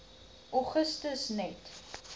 augustus net